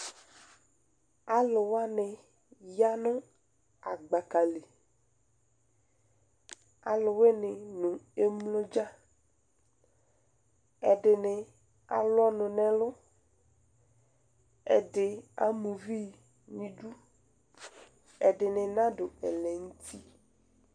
Alʋ wani yanʋ agbaka li Alʋwini nʋ emlo dza Ɛdini alʋ ɔnʋ n'ɛlʋ, ɛdi ama uvi n'idu, ɛdini nadʋ ɛlɛnʋti